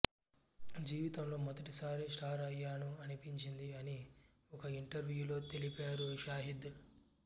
జీవితంలో మొదటిసారి స్టార్ అయ్యాను అనిపించింది అని ఒక ఇంటర్వ్యూలో తెలిపారు షాహిద్